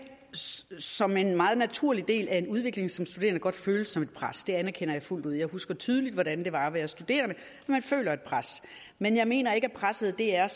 som en meget naturlig del af en udvikling som studerende godt føles som et pres det anerkender jeg fuldt ud jeg husker tydeligt hvordan det var at være studerende man føler et pres men jeg mener ikke at presset er